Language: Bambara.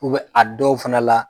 U bɛ a dɔw fana la